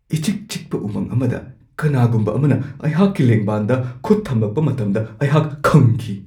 ꯏꯆꯤꯛ-ꯆꯤꯛꯄ ꯎꯃꯪ ꯑꯃꯗ ꯀꯅꯥꯒꯨꯝꯕ ꯑꯃꯅ ꯑꯩꯍꯥꯛꯀꯤ ꯂꯦꯡꯕꯥꯟꯗ ꯈꯨꯠ ꯊꯝꯃꯛꯄ ꯃꯇꯝꯗ ꯑꯩꯍꯥꯛ ꯈꯪꯈꯤ ꯫